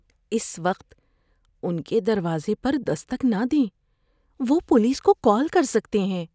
اس وقت ان کے دروازے پر دستک نہ دیں۔ وہ پولیس کو کال کر سکتے ہیں۔